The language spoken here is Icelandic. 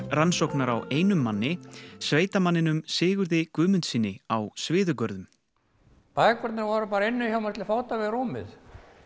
rannsóknar á einum manni sveitamanninum Sigurði Guðmundssyni á Sviðugörðum bækurnar voru bara inni hjá mér til fóta við rúmið